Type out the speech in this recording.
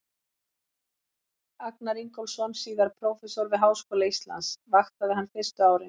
Agnar Ingólfsson, síðar prófessor við Háskóla Íslands, vaktaði hann fyrstu árin.